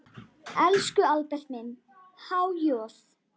Elsku Albert minn, há joð.